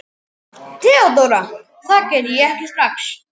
THEODÓRA: Það geri ég ekki strax.